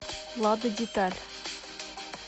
лада деталь